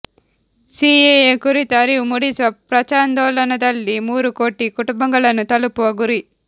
CAA ಕುರಿತು ಅರಿವು ಮೂಡಿಸುವ ಪ್ರಚಾರಾಂದೋಲನದಲ್ಲಿ ಮೂರು ಕೋಟಿ ಕುಟುಂಬಗಳನ್ನು ತಲುಪುವ ಗುರಿ